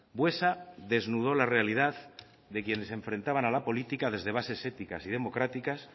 buesa desnudó la realidad de quienes se enfrentaban a la política desde bases éticas y democráticas